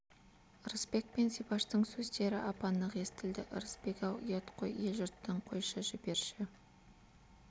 ырысбек пен зибаштың сөздері ап-анық естілді ырысбек-ау ұят қой ел-жұрттан қойшы жіберші